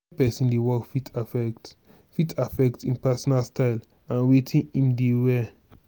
where person dey work fit affect fit affect im personal style and wetin im dey wear